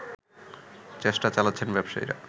চেষ্টা চালাচ্ছেন ব্যবসায়ীরা